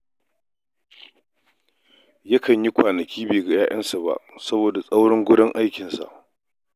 Yakan yi kwanaki bai ga 'ya'yansa ba saboda tsaurin wurin aikinsa.